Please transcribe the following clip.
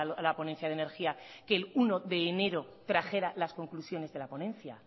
a la ponencia de energía que el uno de enero trajera las conclusiones de la ponencia